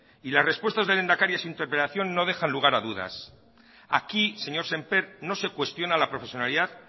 y las respuestas del lehendakari en su interpelación no dejan lugar a dudas aquí señor semper no se cuestiona la profesionalidad